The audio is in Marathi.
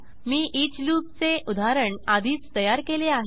मी ईच लूपचे उदाहरण आधीच तयार केले आहे